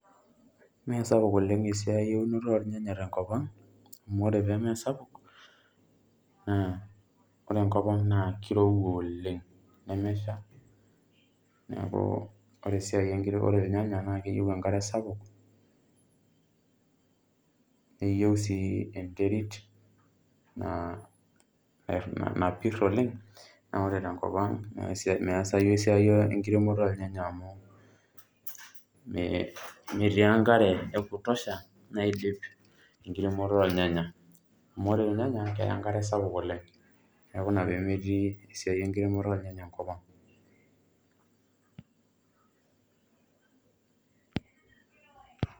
Mesapuk oleng esiai eunoto ornyanya tenkop ang, amu ore pemesapuk, naa ore enkop ang naa kirowua oleng. Nemesha, neeku ore esiai ore irnyanya, na keyieu enkare sapuk, neyieu si enterit ah napir oleng, amu ore tenkop ang meesayu esiai enkiremoto ornyanya amu, metii enkare e kutosha naidip enkiremoto ornyanya. Amu ore irnyanya, keya enkare sapuk oleng. Neeku ina pemetii esiai enkiremoto ornyanya enkop ang.